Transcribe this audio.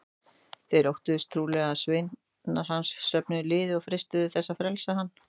Þeir óttuðust trúlega að sveinar hans söfnuðu liði og freistuðu þess að frelsa hann.